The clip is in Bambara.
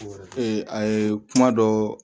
ee a ye kuma dɔ